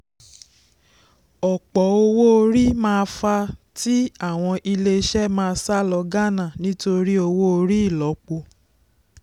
ọ̀pọ̀ owó orí máa fàá tí àwọn ilé-iṣẹ́ má sá lọ ghana torí owó orí ílọ́po.